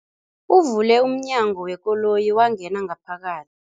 Uvule umnyango wekoloyi wangena ngaphaka